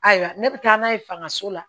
Ayiwa ne bɛ taa n'a ye fangaso la